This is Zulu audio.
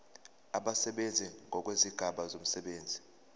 abasebenzi ngokwezigaba zomsebenzi